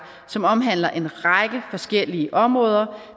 som omhandler en række forskellige områder